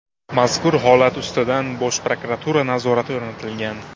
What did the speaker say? Mazkur holat ustidan Bosh prokuratura nazorati o‘rnatilgan.